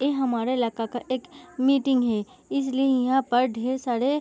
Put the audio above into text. ये हमारे इलाका का एक मीटिंग है इसलिए यहाँ पर ढेर सारे --